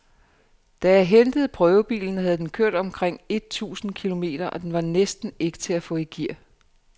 Da jeg hentede prøvebilen, havde den kørt omkring et tusind kilometer, og den var næsten ikke til at få i gear.